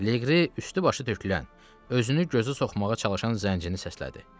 Leqri üstü-başı tökülən, özünü gözə soxmağa çalışan zəncini səslədi.